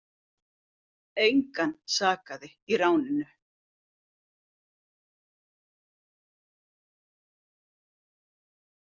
Engan sakaði í ráninu